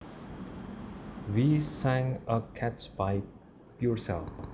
We sang a catch by Purcell